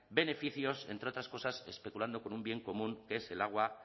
beneficios entre otras cosas especulando con un bien común que es el agua